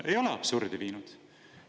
Ei ole absurdi viinud!